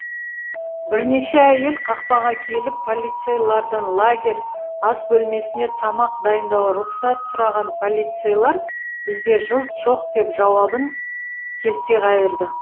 бірнеше әйел қақпаға келіп полицейлардан лагерь ас бөлмесінде тамақ дайындауға рұқсат сұраған полицейлар бізде кілт жоқ деп жауабын келте қайырды